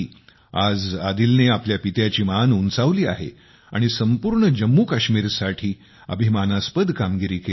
आज आदिलने आपल्या पित्याची मान उंचावली आहे आणि संपूर्ण जम्मूकाश्मिरसाठी अभिमानास्पद कामगिरी केली आहे